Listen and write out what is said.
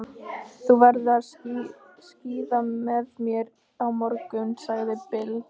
Svo á pabbi hans hlutabréf í nokkrum arðbærum fyrirtækjum.